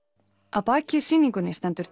að baki sýningunni stendur